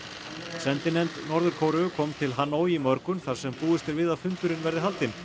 sendinefnd Norður Kóreu kom til Hanoi í morgun þar sem búist er við að fundurinn verði haldinn